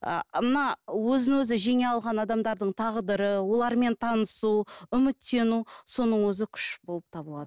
ы мына өзін өзі жеңе алған адамдардың тағдыры олармен танысу үміттену соның өзі күш болып табылады